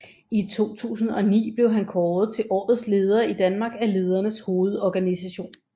I 2009 blev han kåret til Årets Leder i Danmark af Ledernes Hovedorganisation